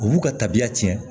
U b'u ka tabiya tiɲɛ